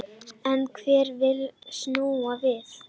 En hver vill snúa við?